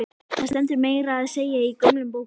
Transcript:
Það stendur meira að segja í gömlum bókum.